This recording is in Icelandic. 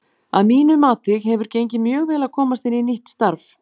Að mínu mati hefur gengið mjög vel að komast inn í nýtt starf.